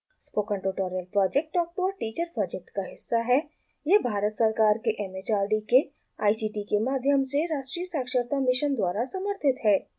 spoken tutorial project talk to a teacher project का हिस्सा है यह भारत सरकार के एम एच आर डी के आई सी टी के माध्यम से राष्ट्रीय साक्षरता मिशन द्वारा समर्थित है